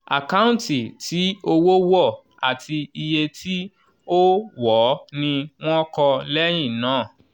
àkáǹtì tí owó wọ̀ àti iye tí ó ó wọ̀ọ́ ni wọ́n kọ́ lẹ́yìn náà.